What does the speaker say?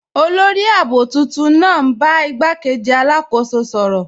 Olórì ààbò tuntun naa n bá igbàkéjì alákóso sọ̀rọ.